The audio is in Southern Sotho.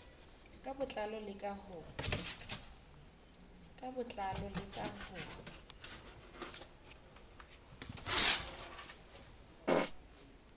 ka botlalo le ka ho